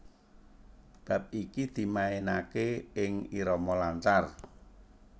Bab iki dimainaké ing irama lancar